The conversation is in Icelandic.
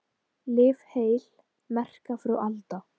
Lif heil, merka frú Alda.